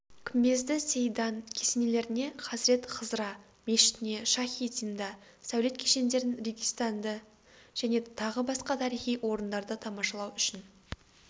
күмбезді-сеийдан кесенелеріне хазірет-хызра мешітіне шахи-зинда сәулет кешендерін регистанды және тағы басқа тарихи орындарды тамашалау үшін